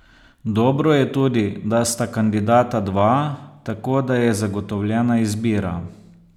Dobro je tudi, da sta kandidata dva, tako da je zagotovljena izbira.